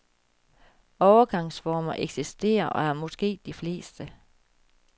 Overgangsformer eksisterer og er måske de fleste.